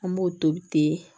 An b'o tobi ten